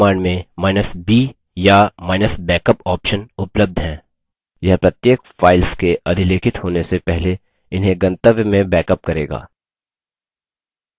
mv command मेंb या –backup option उपलब्ध हैं यह प्रत्येक file के अधिलेखित होने से पहले इन्हें गंतव्य में बैकअप करेगा